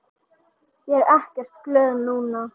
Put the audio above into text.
Ég er ekkert glöð núna.